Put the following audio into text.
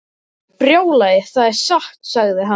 Brjálæði, það er satt sagði hann.